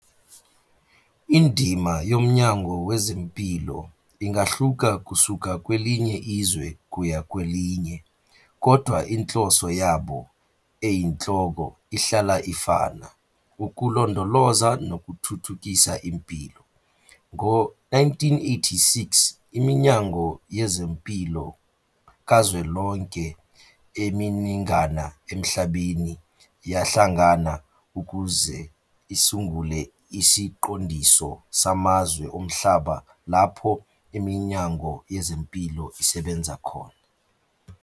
Indima yomnyango wezempilo ingahluka kusuka kwelinye izwe kuya kwelinye, kodwa inhloso yabo eyinhloko ihlala ifana, ukulondoloza nokuthuthukisa impilo. Ngo-1986, iminyango yezempilo kazwelonke eminingana emhlabeni yahlangana ukuze isungule isiqondiso samazwe omhlaba lapho Iminyango Yezempilo isebenza khona.